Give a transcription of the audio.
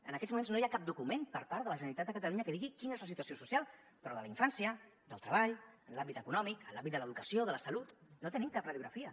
en aquests moments no hi ha cap document per part de la generalitat de catalunya que digui quina és la situació social però de la infància del treball en l’àmbit econòmic en l’àmbit de l’educació de la salut no tenim cap radiografia